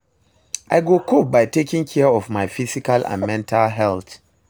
i go cope by taking care of my physical and mental health.